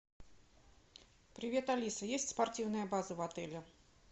привет алиса есть спортивная база в отеле